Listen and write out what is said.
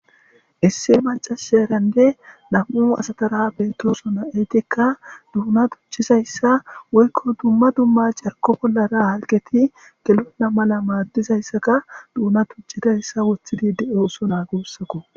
isse macasherande nam7u asatara bentosona eytikka duuna tuchizayssa woykko dumma dumma carko bollara halgeti gelona mala maaddizayssaka duuna tuchidayssa wuthidi de7o oso naagussakko